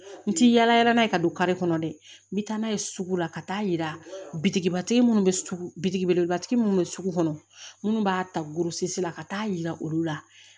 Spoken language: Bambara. N ti yaalayaala n'a ye ka don kari kɔnɔ dɛ n bi taa n'a ye sugu la ka taa yira bitigibatigi munnu bɛ sugu bitigi belebelebatigi minnu bɛ sugu kɔnɔ minnu b'a ta gosi la ka taa yira olu la